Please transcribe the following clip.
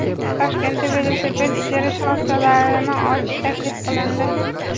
Toshkentda velosiped ijara shoxobchalarini ochish taklif qilindi.